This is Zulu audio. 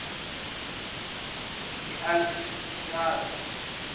ilkhisiraki